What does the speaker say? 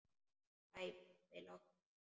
Æ pabbi, láttu ekki svona.